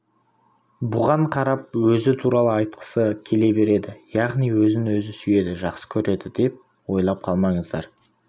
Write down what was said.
бұған қарап өзі туралы айтқысы келе береді яғни өзін өзі сүйеді жақсы көреді деп ойлап қалмаңыздар